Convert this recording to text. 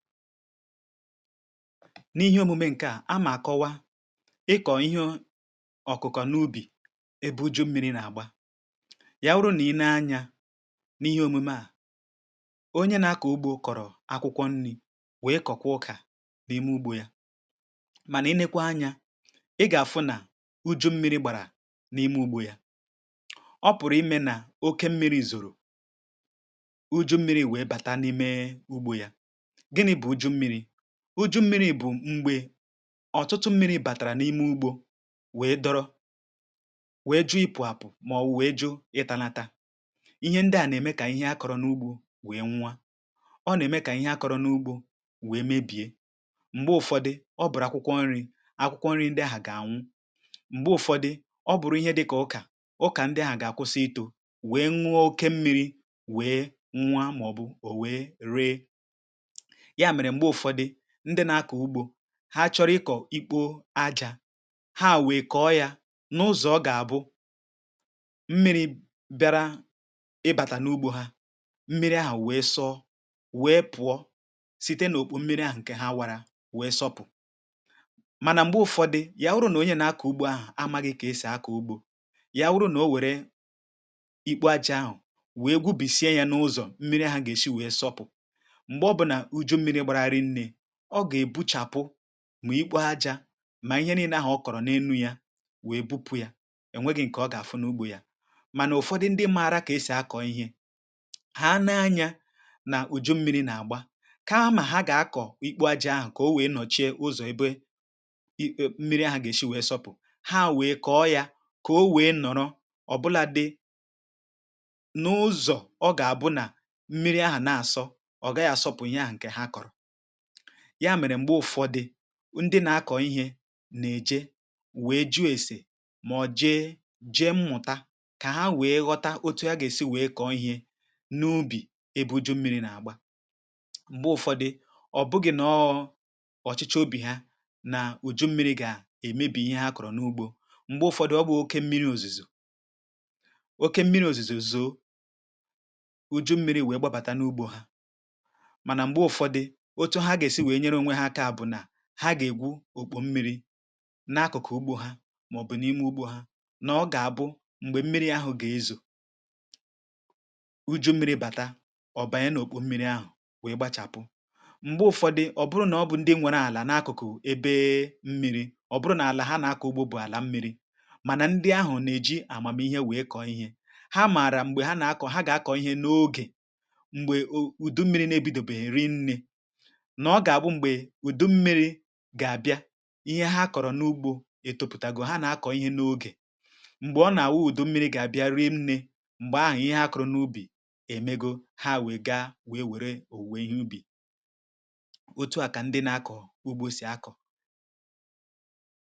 N’ihe òmùme ṅ̀ke a, a mà kọwa ịkọ̀ ihe ọ̀kụ̀kọ̀ n’ubì ebe uju̇ mmi̇ri̇ nà-àgba. Yàwụrụ nà i nee anyȧ n’ihe òmùme a, onye na-akọ̀ ugbȯ kọ̀rọ̀ akwụkwọ nni̇ wèe kọ̀kwa ọkà n’ime ugbȯ ya mànà i nekwa anyȧ ị gà-àfụ nà uju̇ mmi̇ri̇ gbàrà n’ime ugbȯ yȧ, ọ pụ̀rụ̀ imė nà oke mmi̇ri̇ zòrò, uju̇ mmi̇ri̇ wèe bàta n’ime ugbȯ ya. Gịnị bụ újú mmiri̇? Uju mmiri bụ̀ mgbė ọ̀tụtụ mmiri̇ bàtàrà n’ime ugbȯ wee dọrọ̇ wèe jụo ipụ̀ apụ̀ màọ̀bụ̀ wèe jụọ ịtȧnȧtȧ. ihe ndị à nà-ème kà ihe akọ̇rọ̇ n’ugbȯ wèe nwụọ, ọ nà-ème kà ihe akọ̇rọ̇ n’ugbȯ wèe mebiė, m̀gbè ụ̀fọdị ọ bụ̀rụ̀ akwụkwọ nri̇, akwụkwọ nri̇ ndị ahu gà-ànwụ, m̀gbè ụ̀fọdị ọ bụ̀rụ̀ ihe dị̇ kà ukà, ụkà ndị ahà gà-àkwụsị itȯ wèe ṅụọ oke mmiri̇ wèe nwua màọ̀bụ̀ ò wèe ree. Ya mere mgbe ụfọdụ, ndị na-akọ ụgbọ, ha chọrọ ịkọ̀ ikpo ajȧ ha wèè kọ yȧ n’ụzọ̀ ọ gà-àbụ mmiri̇ bịara ịbàtà n’ugbo ha mmiri̇ ahụ̀ wèe sọ wèe pụọ site n’òkpò mmiri ahụ̀ ǹkè ha wara wèe sọpụ̀ mànà m̀gbè ụ̀fọdị ya wụrụ nà onye nà akọ̀ ugbo ahụ̀ a màghị̇ kà esì akọ̀ ugbȯ ya wụrụ nà o wèrè ikpo ajȧ ahụ wèe gwubìsie yȧ n’ụzọ̀ mmiri ahụ̀ gà-èshi wèe sọpụ̀, mgbe ọbụna uju mmiri gbara rinne, ọ gà-èbuchàpụ ma ikpo ajȧ mà ihe niine ahụ̀ kọ̀rọ̀ n’elu yȧ wèe bupụ yȧ, ènweghi̇ ǹkè ọ gà-àfụ n’ugbȯ yȧ. Mànà ụ̀fọdụ ndị mmȧra kà esì akọ̇ ihe, hà nee anyȧ nà ùju mmi̇ri̇ nà àgba kama ha gà-akọ̀ ikpo ajȧ ahụ̀ kà o wèe nọ̀chie ụzọ̀ ebe mmiri ahụ̀ gà-èshi wèe sọpụ̀, ha wèe kọ̀ọ yȧ kà o wèe nọ̀rọ ọ̀ bụla dị n'ụ̇zọ̀ ọ gà-àbụnà mmiri ahụ̀ na-àsọ ọ̀ gàghi àsọpụ̀ ihe ahụ̀ ǹkè ha kọ̀rọ̀. ya mèrè m̀gbe ụ̀fọdụ ndị na-akọ̀ ihė nà-èje wee ju̇ esè mà ọ̀ jee jee mmụ̀ta kà ha nwèe ghọta otu ha gà-èsi nwèe kọ̀ọ ihė n’ubì ebe uju̇ mmiri̇ nà-àgba. m̀gbe ụ̀fọdụ, ọ̀ bụgị̀ nọọ ọ̀chịchọ obì ha nà uju̇ mmiri̇ gà-èmebì ihe ha kọ̀rọ̀ n’ugbȯ m̀gbe ụ̀fọdụ ọ bụ̀ oke mmiri̇ òzùzò, oke mmiri̇ òzùzò zòo uju̇ mmiri̇ wee gbabàta n’ugbȯ hȧ mànà m̀gbe ụ̀fọdụ otu ha ga-esi wee nyere onwe ha bụ na ha gà-ègwu òkpò m̀miri n' akụ̀kụ̀ ugbȯ ha màọ̀bụ̀ n’imė ugbȯ ha nà ọ gà-àbụ m̀gbè mmiri ahụ̀ gà-ezò, uju mmiri bàta ọ̀ bànye n’òkpò mmiri ahụ̀ wèe gbȧchàpụ. m̀gbè ụ̀fọdị ọ bụrụ nà ọ bụ ndị nwėrė àlà n’akụ̀kụ̀ ebee mmiri, ọ bụrụ nà àlà ha nà-àkọ ugbȯ bụ̀ àlà mmiri mànà ndị ahụ̀ nà-èji àmàmihe wèe kọ̀ ihe, ha mààrà m̀gbè ha nà-akọ̀, ha gà-akọ̀ ihe n’ogè m̀gbè ùdu mmiri na-ebidobèghi rinni na oga-abụ mgbe udu mmiri gà-abịa ihe ha kọ̀rọ̀ n’ugbȯ ètopùtàgò ha nà-akọ̀ ihe n’ogè m̀gbè ọ gà-àwụ ụ̀dụ mmiri gà-abịa rịịnịe, m̀gbè ahụ̀ ihe ha kọ̀rọ̀ n’ubì èmegȯ ha wèe gaa wèe wère òwuwe ihe ubì, otu à kà ndị nà-akọ̀ ugbȯ sì akọ̀.